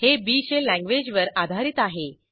हे B shell लँग्वेजवर आधारित आहे